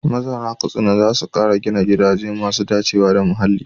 Mazauna Katsina za su kara gina gidaje masu dacewa da muhalli.